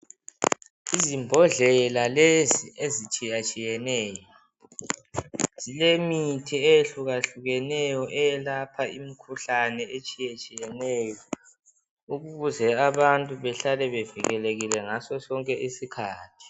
Izimbodlela lezi ezitshiyatshiyeneyo zile mithi ehlukahlukeneyo eyelapha imikhuhlane etshiyetshiyeneyo ukuze abantu bahlale bevikelekile ngaso sonke isikhathi.